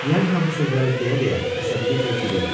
Klyazınla bu sözləri deyə-deyə əsəbiliklə gülürdü.